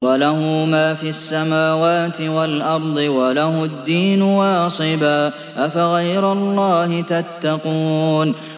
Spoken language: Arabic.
وَلَهُ مَا فِي السَّمَاوَاتِ وَالْأَرْضِ وَلَهُ الدِّينُ وَاصِبًا ۚ أَفَغَيْرَ اللَّهِ تَتَّقُونَ